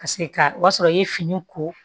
Paseke ka o y'a sɔrɔ i ye fini ko